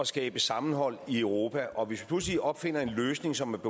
skabe sammenhold i europa og hvis vi pludselig opfinder en løsning som